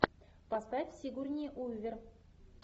поставь сигурни уивер